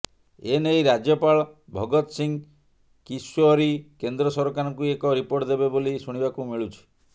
ଏନେଇ ରାଜ୍ୟପାଳ ଭଗତସିଂ କିଶ୍ୟୋରୀ କେନ୍ଦ୍ର ସରକାରଙ୍କୁ ଏକ ରିପୋର୍ଟ ଦେବେ ବୋଲି ଶୁଣିବାକୁ ମିଳୁଛି